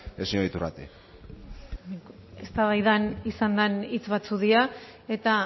el señor iturrate eztabaidan izan den hitz batzuk dira eta